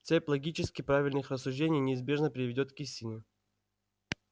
цепь логически правильных рассуждений неизбежно приведёт к истине